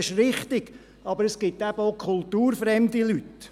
Das ist richtig, aber es gibt eben auch kulturfremde Leute.